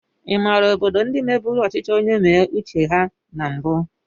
Ịmàrà obodo ndị mebụrụ ọchịchị onye mee uche ha na mbu?